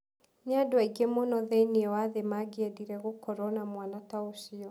Nĩ andũ aingĩ mũno thĩinĩ wa thĩ mangĩendire gũkorũo na mwana ta ũcio.